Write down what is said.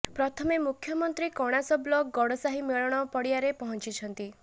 ପ୍ରଥମେ ମୁଖ୍ୟମନ୍ତ୍ରୀ କଣାସ ବ୍ଲକ ଗଡ଼ସାହି ମେଳଣ ପଡିଆରେ ପହଞ୍ଚିଛନ୍ତି